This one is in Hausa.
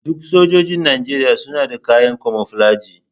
Duk sojoji Nijeriya suna sa kayan kamoflaji.